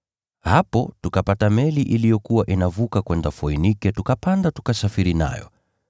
Hapo tukapata meli iliyokuwa inavuka kwenda Foinike tukapanda tukasafiri nayo.